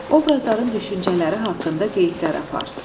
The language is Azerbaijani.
Obrazların düşüncələri haqqında qeydlər apar.